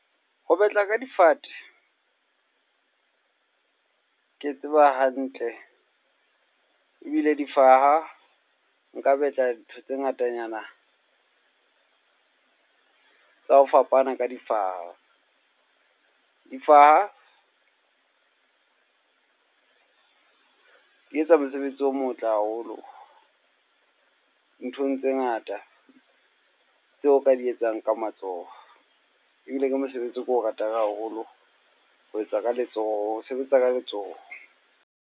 Ho batla ka difate, ke tseba hantle. Ebile difaha, nka betla ntho tse ngatanyana tsa ho fapana ka difaha. Difaha di etsa mosebetsi o motle haholo nthong tse ngata tseo o ka di etsang ka matsoho. Ebile ke mosebetsi o ke o ratang haholo, ho etsa ka letsoho, ho sebetsa ka letsoho.